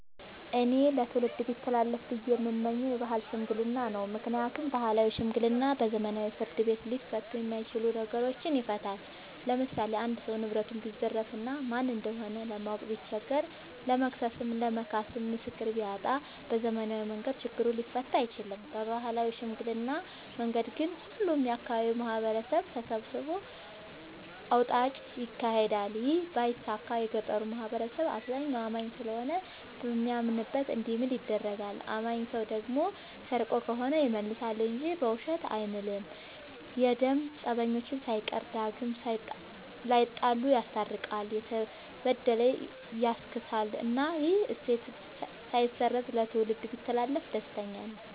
እኔ ለትውልድ ቢተላለፍ ብዬ የምመኘው የባህል ሽምግልና ነው። ምክንያቱም ባህላዊ ሽምግልና በዘመናዊ ፍርድ ቤት ሊፈቱ የማይችሉ ነገሮችን ይፈታል። ለምሳሌ አንድ ሰው ንብረቱን ቢዘረፍ እና ማን እንደሆነ ለማወቅ ቢቸገር ለመክሰስም ለመካስም ምስክር ቢያጣ በዘመናዊ መንገድ ችግሩ ሊፈታ አይችልም። በባህላዊ ሽምግልና መንገድ ግን ሁሉም የአካባቢው ማህበረሰብ ተሰብስቦ አውጣጭ ይካሄዳል ይህ ባይሳካ የገጠሩ ማህበረሰብ አብዛኛው አማኝ ስለሆነ በሚያምንበት እንዲምል ይደረጋል። አማኝ ሰው ደግሞ ሰርቆ ከሆነ ይመልሳ እንጂ በውሸት አይምልም። የደም ፀበኞችን ሳይቀር ዳግም ላይጣሉ ይስታርቃል፤ የተበደለ ያስክሳል እናም ይህ እሴት ሳይበረዝ ለትውልድ ቢተላለፍ ደስተኛ ነኝ።